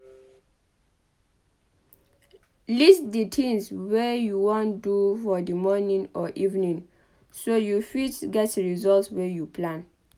List di things wey you wan do for di morning or evening so you fit get result wey you plan